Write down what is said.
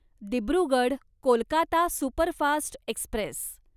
Dibrugarh Kolkata superfast Express